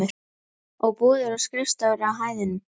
Og búðir og skrifstofur á hæðunum.